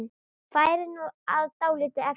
Færið var dálítið erfitt.